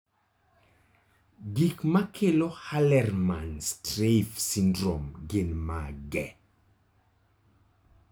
Gik makelo Hallermann Streiff syndrome gin mage?